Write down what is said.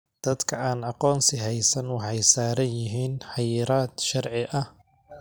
Dadka aan aqoonsi haysan waxay saaran yihiin xayiraad sharci ah.